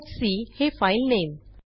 talkसी हे फाइलनेम